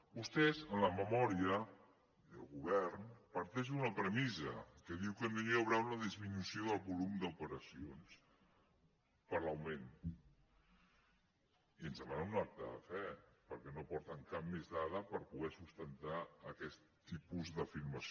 vostès en la memòria i el govern parteixen d’una premissa que diu que no hi haurà una disminució del volum d’operacions per l’augment i ens demanen un acte de fe perquè no aporten cap més dada per poder sustentar aquest tipus d’afirmació